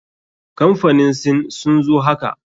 Kamfanin sin sun zo haka.